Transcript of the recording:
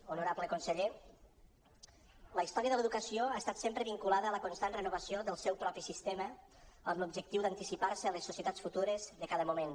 honorable conseller la història de l’educació ha estat sempre vinculada a la constant renovació del seu propi sistema amb l’objectiu d’anticipar se a les societats futures de cada moment